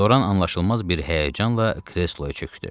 Loran anlaşılmaz bir həyəcanla kresloya çökdü.